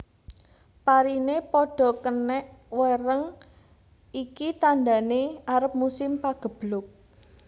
Parine padha kenek wereng iki tandane arep musim pageblug